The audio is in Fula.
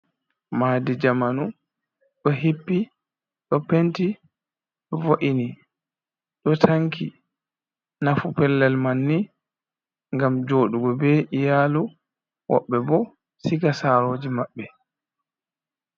Maadi jamanu ɗo hippi do penti vo’ini ɗo tanki nafu pellel manni ngam joɗugo be iyalu woɓɓe bo siga saroje maɓɓe.